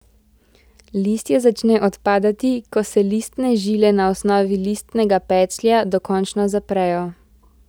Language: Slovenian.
Listje začne odpadati, ko se listne žile na osnovi listnega peclja dokončno zaprejo.